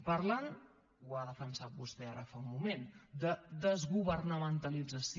parlen ho ha defensat vostè ara fa un moment de desgovernamentalització